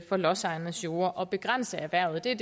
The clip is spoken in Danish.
for lodsejernes jorde og begrænse erhvervet det